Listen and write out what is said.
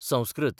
Sanskrit